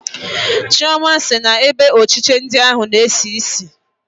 Chioma na-sị na ebe ochiche ndi ahụ na-esi isi